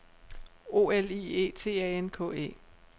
O L I E T A N K E